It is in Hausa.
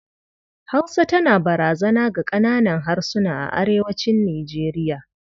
Hausa tana barazana ga ƙananan harsuna a arewacin Nijeriya.